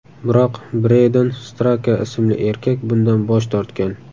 Biroq Bredon Straka ismli erkak bundan bosh tortgan.